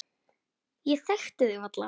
Ég þekkti þig varla.